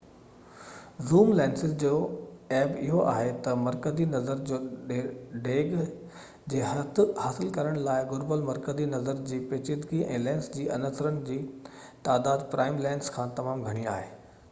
zoom lenses جو عيب اهو آهي تہ مرڪزي نظر جي ڊيگهہ جي حد حاصل ڪرڻ لاءِ گهربل مرڪزي نظر جي پيچيدگي ۽ لينس جي عنصرن جي تعداد پرائم لينسز کان تمام گهڻي آهي